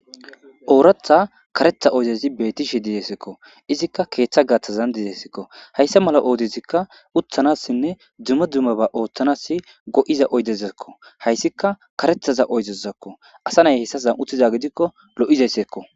Oratha karetha oydezi betishe dizaysako izika ketha gathan dizaysako haysa mala oydezi utanasinne duma duma mishe othanaw maddizaysako haysika karetha oydezako asa nay haysan utiza gidiko lo'izaysako